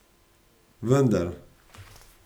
Vendar...